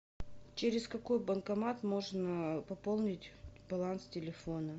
через какой банкомат можно пополнить баланс телефона